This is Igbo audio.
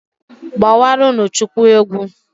Gbawaranụ Chukwu egwu.